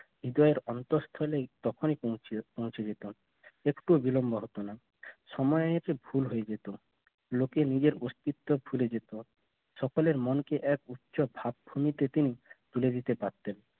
হৃদয়ের অন্তস্থলে পৌঁছে পৌঁছে যেত একটু বিলম্ব হতো না সময়ের ভুল হয়ে যেত লোকে নিজের অস্তিত্ব ভুলে যেত সকলের মনকে এক উচ্চ ভাবীতে পিরিতে তুলে দিতে পারতেন